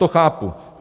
To chápu.